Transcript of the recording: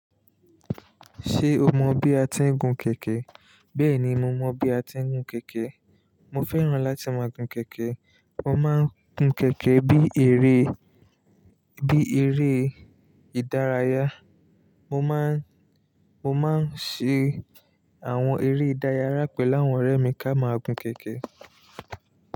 Ṣé o mọ bí a ti ń gun kẹ̀kẹ́? Bẹ́ẹ̀ni, mo mọ bí a ti ń gun kẹ̀kẹ́. Mo fẹ́ràn láti máa gun kẹ̀kẹ́. Mo máa ń gun kẹ̀kẹ́ bí eré, bí eré ìdárayá. Mo má ń, mo máa ń ṣe àwọn eré ìdárayá pẹ̀lú àwọn ọ̀rẹ́ mi ká máa gun kẹ̀kẹ́